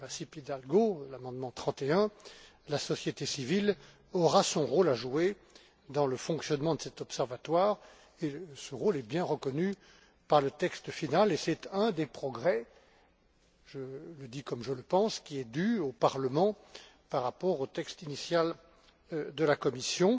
Masip Hidalgo, l'amendement 31, la société civile aura son rôle à jouer dans le fonctionnement de cet observatoire et que ce rôle est bien reconnu par le texte final. C'est un des progrès je le dis comme je le pense qui est dû au Parlement par rapport au texte initial de la Commission.